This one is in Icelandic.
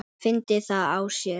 Fyndi það á sér.